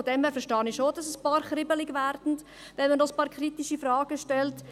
Daher verstehe ich schon, dass einige kribbelig werden, wenn man ein paar kritische Fragen stellt.